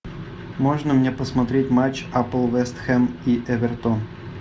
можно мне посмотреть матч апл вестхэм и эвертон